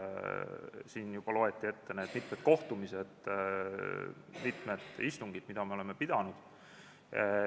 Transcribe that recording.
Siin juba loeti ette need mitmed kohtumised, mitmed istungid, mis on olnud.